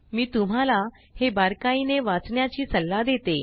मी तुम्हाला हे बारकाईने वाचण्याची सल्ला देते